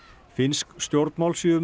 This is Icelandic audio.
finnsk stjórnmál séu mun